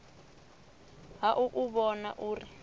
ha u u vhona uri